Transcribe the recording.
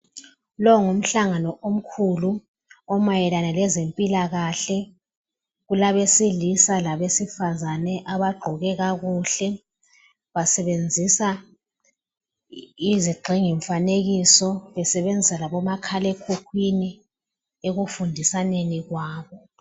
Lowu ngumhlangano omkhulu omayelana ngezempilakahle . Kulabesilisa labesifazana abagqoke kakuhle. Basebenzisa izigxingimfanekiso , besebenzisa labomakhalekhukhwini ekufundisaneni kwabo.